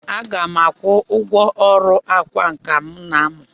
Aga m akwụ ụgwọ ọrụ ọkwá nkà m na-amụ.